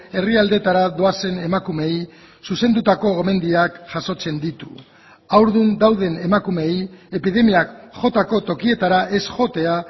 herrialdeetara doazen emakumeei zuzendutako gomendioak jasotzen ditu haurdun dauden emakumeei epidemiak jotako tokietara ez joatea